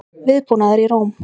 Viðbúnaður í Róm